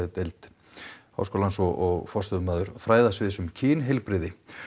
og forstöðumaður fræðasviðs um kynheilbrigði